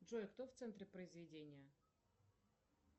джой кто в центре произведения